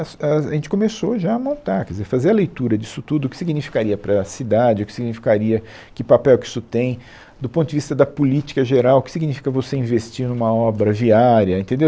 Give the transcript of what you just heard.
A, a gente começou já a montar, quer dizer, fazer a leitura disso tudo, o que significaria para a cidade, o que significaria, que papel que isso tem, do ponto de vista da política geral, o que significa você investir em uma obra viária, entendeu?